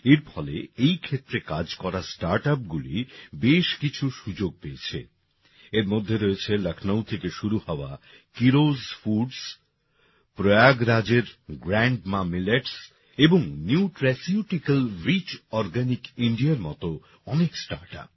এর ফলে এই ক্ষেত্রে কাজ করা স্টার্টআপগুলি বেশ কিছু সুযোগ পেয়েছে এর মধ্যে রয়েছে লখনউ থেকে শুরু হওয়া কিরোজ ফুডস প্রয়াগরাজের গ্র্যান্ডমা মিলেটস এবং নিউট্রাসিউটিক্যাল রিচ অর্গানিক ইন্ডিয়াএর মতো অনেক স্টার্টআপ